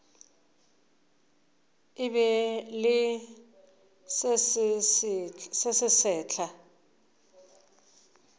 be e le se sesehla